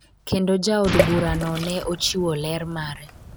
kendo jaod bura no ne ochiwo ler mare